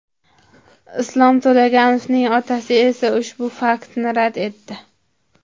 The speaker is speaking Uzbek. Islom To‘laganovning otasi esa ushbu faktni rad etdi.